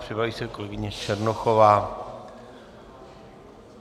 Připraví se kolegyně Černochová.